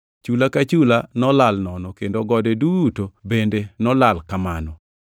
Chula ka chula nolal nono kendo gode duto bende nolal kamano.